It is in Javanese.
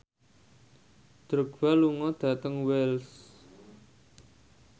Drogba lunga dhateng Wells